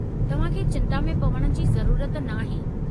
तव्हां खे चिंता में पवण जी ज़रूरत नाहे।